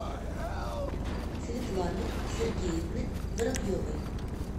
светланы сергеевны воробьевой